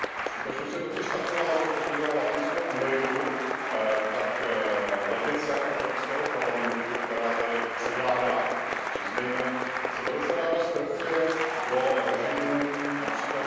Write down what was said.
Skutečnost je totiž taková, že pokud jde o Latinskou Ameriku, tak levice Evropského parlamentu, která tady převládá, to si přiznejme, se velice ráda strefuje do režimů např.